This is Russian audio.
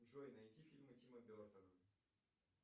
джой найти фильмы тима бертона